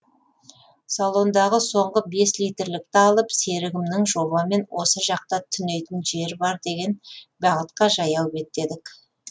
салондағы соңғы бес литрлікті алып серігімнің жобамен осы жақта түнейтін жер бар деген бағытқа жаяу беттедік